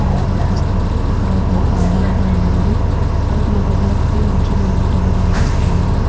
అట్టుగా కనిపిస్తుందిఇక్కడ ఒక్క ఆడావిడ ఉన్నారు మరు మగవక్తి న్యుచునివున్నట్లుగా కనిపిస్తున్నారు.